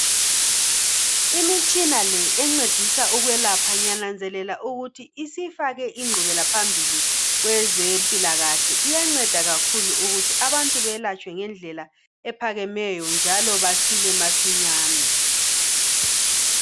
Imitshina le encedisa ukwelapha ngiyananzelela ukuthi sifake ingqubekela phambili Kwezempilakahle, iyanceda kakhulu ukuthi abantu bayelatshwe ngendlela ephakemeyo njalo basile masinyane